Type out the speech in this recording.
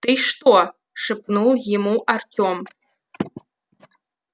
ты что шепнул ему артем